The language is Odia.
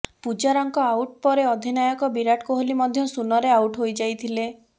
ପୂଜାରାଙ୍କ ଆଉଟ ପରେ ଅଧିନାୟକ ବିରାଟ କୋହଲୀ ମଧ୍ୟ ଶୂନରେ ଆଉଟ ହୋଇଯାଇଥିଲେ